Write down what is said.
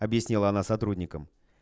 объяснила она сотрудникам